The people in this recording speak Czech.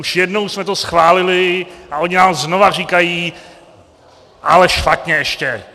Už jednou jsme to schválili a oni nám znova říkají: Ale špatně, ještě.